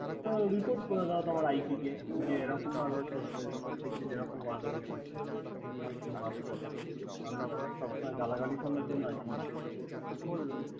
তো report করে দেও তোমার IT কে যে, এরকম ভাবে প্রত্যেক দিন এরকম গল্ডগোল করছে। একি আমি কি সব সময় গালাগালি শোনার জন্য আছি নাকি।